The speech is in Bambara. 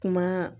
Kuma